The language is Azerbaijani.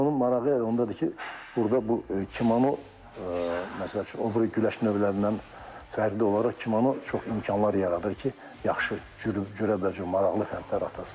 Cüdonun marağı ondadır ki, burda bu kimono məsəl üçün o biri güləş növlərindən fərqli olaraq çox imkanlar yaradır ki, yaxşı cürə-bəcürə maraqlı fəndlər atasən.